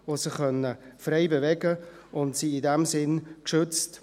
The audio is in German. Die Tiere konnten sich frei bewegen und sind in diesem Sinne geschützt.